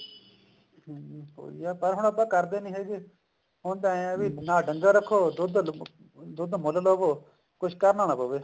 ਹਮ ਉਹੀ ਆ ਪਰ ਹੁਣ ਕਰਦੇ ਨੀ ਹੈਗੇ ਹੁਣ ਤਾਂ ਏਵੇਂ ਹੈ ਵੀ ਨਾ ਡੰਗਰ ਰੱਖੋ ਦੁੱਧ ਮੁੱਲ ਲਵੋ ਕੁੱਝ ਕਰਨਾ ਨਾ ਪਵੇ